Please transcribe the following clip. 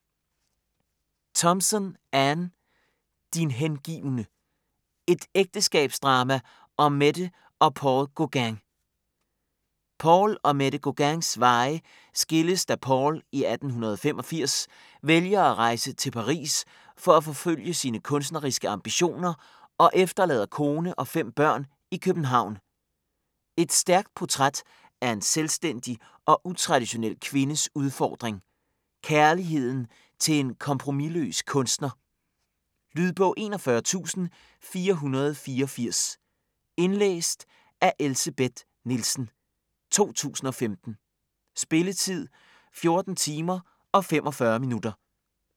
Thompson, Anne: Din hengivne: et ægteskabsdrama om Mette og Paul Gauguin Paul og Mette Gauguins veje skilles da Paul i 1885 vælger at rejse til Paris for at forfølge sine kunstneriske ambitioner og efterlader kone og fem børn i København. Et stærkt portræt af en selvstændig og utraditionel kvindes udfordring; kærligheden til en kompromisløs kunstner. Lydbog 41484 Indlæst af Elsebeth Nielsen, 2015. Spilletid: 14 timer, 45 minutter.